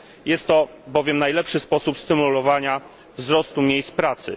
Jest to bowiem najlepszy sposób stymulowania wzrostu liczby miejsc pracy.